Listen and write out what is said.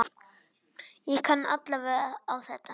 Ég kann alveg á þetta.